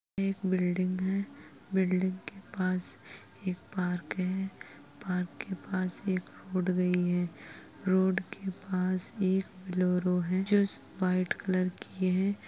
एक बिल्डिंग है। बिल्डिंग के पास एक पार्क है। पार्क के पास एक रोड़ गई है। रोड के पास एक बोलेरो है जो इस व्हाइट कलर की है।